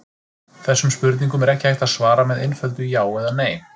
Þessum spurningum er ekki hægt að svara með einföldu já eða nei.